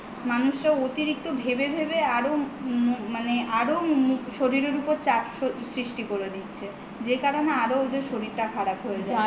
মানুষরা অতিরিক্ত ভেবে ভেবে আরো শরীরের ওপর চাপ সৃষ্ঠি করে দিচ্ছে যে কারণে আরো ওদের শরীরটা খারাপ হয়ে যাচ্ছে